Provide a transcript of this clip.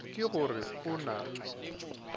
ke go re o na